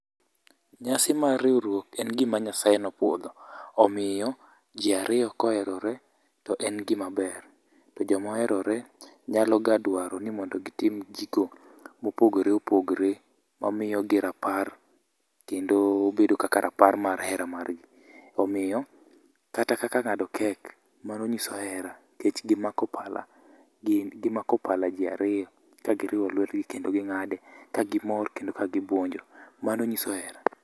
Nyasi mar riwruok en gima Nyasaye ne opuodho. Omiyo, ji ariyo, ka oherore to en gima ber. To joma oherore nyalo ga dwaro ni mondo gitim gigo mopogore opogore, ma omiyo gi rapar kendo bedo kaka rapar mar hera margi. Omiyo kata kaka ng'ado kek mano nyiso hera, nikech gimako pala, gin gimako pala ji ariyo ka giriwo lwetgi kendo ging'ade, ka gimor kendo ka gibuonjo. Mano nyiso hera.